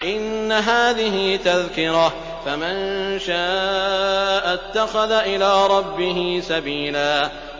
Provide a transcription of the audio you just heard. إِنَّ هَٰذِهِ تَذْكِرَةٌ ۖ فَمَن شَاءَ اتَّخَذَ إِلَىٰ رَبِّهِ سَبِيلًا